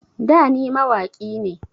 Da ni mawaƙi ne